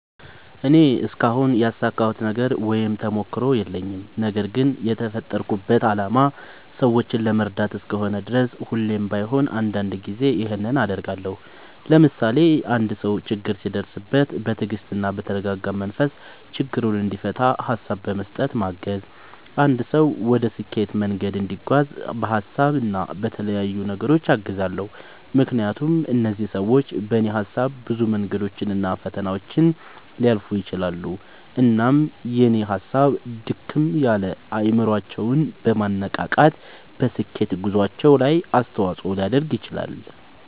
እኔ እስካሁን ያሳካሁት ነገር ወይም ተሞክሮ የለኝም። ነገርግን የተፈጠርኩበት አላማ ሰዎችን ለመርዳት እስከሆነ ድረስ ሁሌም ባይሆን አንዳንድ ጊዜ ይኸንን አደርጋለሁ። ለምሳሌ፦ አንድ ሰው ችግር ሲደርስበት በትግስትና በተረጋጋ መንፈስ ችግሩን እንዲፈታ ሀሳብ በመስጠት ማገዝ፣ አንድ ሰው ወደ ስኬት መንገድ እንዲጓዝ በሀሳብ እና በተለያዩ ነገሮች አግዛለሁ። ምክንያቱም እነዚህ ሰዎች በኔ ሀሳብ ብዙ መንገዶችን እና ፈተናዎችን ሊያልፉ ይችላሉ። እናም የኔ ሀሳብ ድክም ያለ አይምሮአቸውን በማነቃቃት በስኬት ጉዞአቸው ላይ አስተዋጽኦ ሊያደርግ ይችላል።